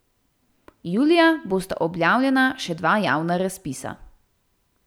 Julija bosta objavljena še dva javna razpisa.